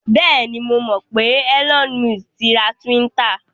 Bẹ́ẹ̀ni, mo mọ̀ pé Elon Musk ti ra Twitter.